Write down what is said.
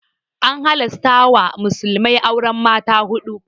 An halasta wa musulmai auren mata huɗu.